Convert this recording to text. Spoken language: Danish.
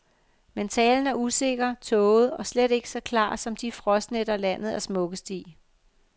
Men talen er usikker, tåget og slet ikke så klar som de frostnætter, landet er smukkest i.